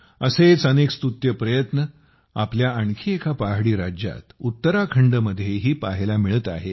असेच अनेक स्तुत्य प्रयत्न आपल्या आणखी एका पहाडी राज्यात उत्तराखंडमध्येही पाहायला मिळत आहेत